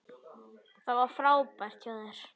Þetta var frábært hjá þér!